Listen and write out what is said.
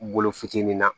Bolo fitinin na